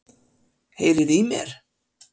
Heyriði í mér?